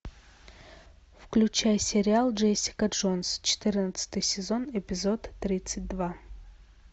включай сериал джессика джонс четырнадцатый сезон эпизод тридцать два